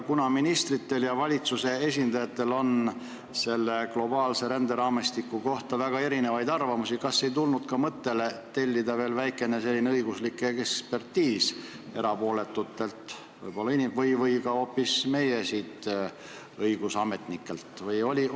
Kuna ministritel ja valitsuse esindajatel on selle globaalse ränderaamistiku kohta väga erinevaid arvamusi, siis kas te ei tulnud mõttele tellida veel väike õiguslik ekspertiis erapooletutelt või hoopis meie õigusametnikelt?